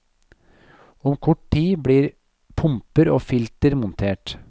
Om kort tid blir pumper og filter montert.